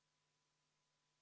Panen lõpphääletusele eelnõu 607.